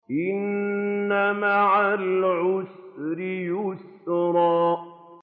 إِنَّ مَعَ الْعُسْرِ يُسْرًا